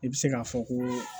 I bɛ se k'a fɔ ko